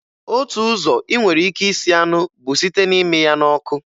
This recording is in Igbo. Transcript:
Otu ụzọ ị nwere ike isi anụ bụ site na-ịmị ya n'ọkụ